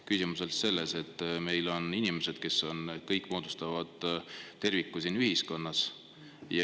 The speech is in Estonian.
Küsimus on selles, et meil on inimesed, kes kõik moodustavad terviku siin ühiskonnas.